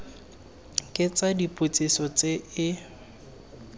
ke tsa dipotsiso tse e